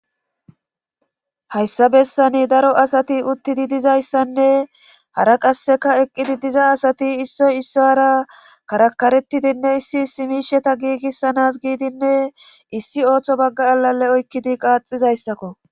hayssa bessani daro asati uttidi dizayssanne hara qasseka eqqidi diza asati issoy isso hara karakaretidinne issi simisheta giigissanas giidinne issi ooththo bagga alale oykkidi qaaxizayssakko